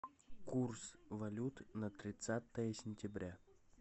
курс валют на тридцатое сентября